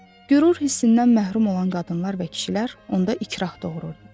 Qürur hissindən məhrum olan qadınlar və kişilər onda ikrah doğururdu.